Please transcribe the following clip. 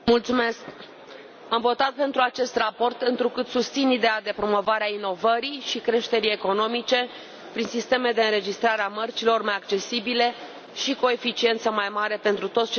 Am votat pentru acest raport, întrucât susțin ideea de promovare a inovării și creșterii economice prin sisteme de înregistrare a mărcilor mai accesibile și cu o eficiență mai mare pentru toți cetățenii europeni.